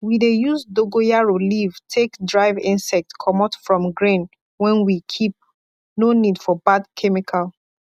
we dey use dogoyaro leave take drive insect comot from grain wen we keep no need for bad chemical